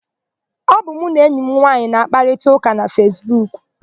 Ọ bụ mụ na enyi m nwaanyị na-àkpárịtaụka na Fesbuku.